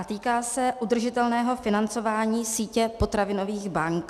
A týká se udržitelného financování sítě potravinových bank.